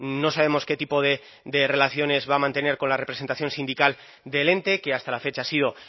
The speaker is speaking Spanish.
no sabemos qué tipo de relaciones va a mantener con la representación sindical del ente que hasta la fecha ha sido